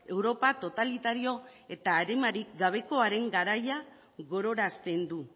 europa totalitario eta arimarik gabekoaren garaia gogorazten du